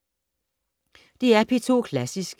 DR P2 Klassisk